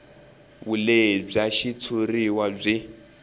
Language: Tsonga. vulehi bya xitshuriwa byi